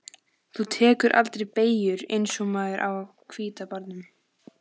Þú tekur aldrei beygjur eins og maðurinn á hvíta bátnum.